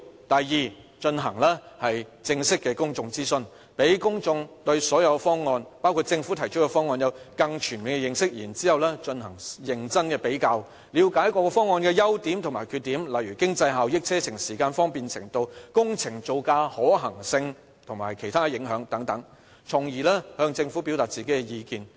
第二，進行正式的公眾諮詢，讓公眾對所有方案，包括政府提出的方案，有更全面的認識，然後進行認真的比較，了解各方案的優點及缺點，例如經濟效益、車程時間、方便程度、工程造價、可行性及其他影響，從而向政府表達意見。